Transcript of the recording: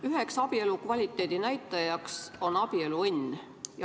Üheks abielu kvaliteedi näitajaks on abieluõnn.